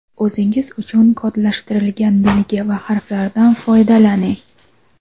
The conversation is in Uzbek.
O‘zingiz uchun kodlashtirilgan belgi va harflardan foydalaning.